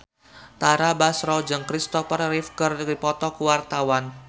Tara Basro jeung Kristopher Reeve keur dipoto ku wartawan